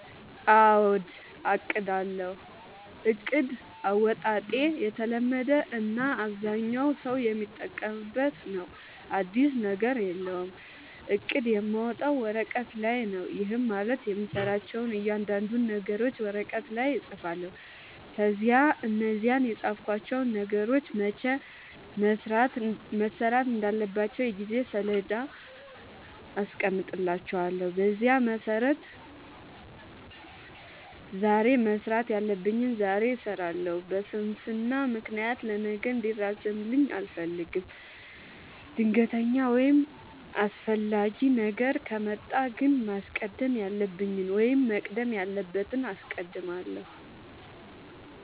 አዎ አቅዳለሁ። እቅድ አወጣጤ የተለመደ እና አብዛኛው ሠው የሚጠቀምበት ነው። አዲስ ነገር የለውም። እቅድ የማወጣው ወረቀት ላይ ነው። ይህም ማለት የምሠራቸውን እያንዳንዱን ነገሮች ወረቀት ላይ እፅፋለሁ። ከዚያ እነዛን የፃፍኳቸውን ነገሮች መቼ መሠራት እንዳለባቸው የጊዜ ሠሌዳ አስቀምጥላቸዋለሁ። በዚያ መሠረት ዛሬ መስራት ያለብኝን ዛሬ እሠራለሁ። በስንፍና ምክንያት ለነገ እንዲራዘምብኝ አልፈልግም። ድንገተኛ ወይም አስፈላጊ ነገር ከመጣ ግን ማስቀደም ያለብኝን ወይም መቅደም ያለበትን አስቀድማለሁ።